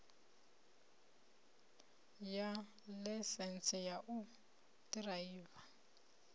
ya ḽaisentsi ya u ḓiraiva